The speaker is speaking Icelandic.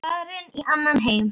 Farin í annan heim.